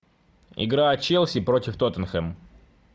игра челси против тоттенхэм